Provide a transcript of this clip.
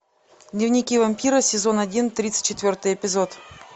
дневники вампира сезон один тридцать четвертый эпизод